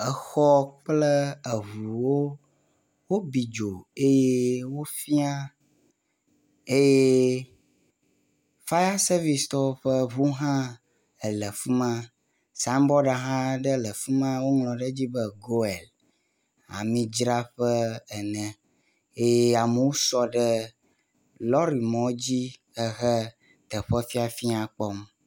Exɔ kple eŋuwo wobi dzo eye wofia eye fire servicetɔwo ƒe ŋu hã le afi ma, signboard aɖe hã le efi ma eye woŋlɔ ɖe edzi be goil ami dzraƒe ene eye amewo sɔ ɖe lɔri mɔ dzi ehe teƒe fiafia kpɔm